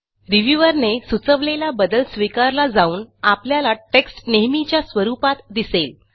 reviewer ने सुचवलेला बदल स्वीकारला जाऊन आपल्याला टेक्स्ट नेहमीच्या स्वरुपात दिसेल